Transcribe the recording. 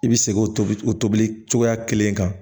I bɛ segin o tobili o tobili cogoya kelen kan